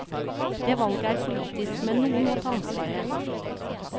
Det valget er politisk, men noen må ta ansvaret.